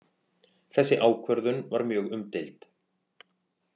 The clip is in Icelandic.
Þessi ákvörðun var mjög umdeild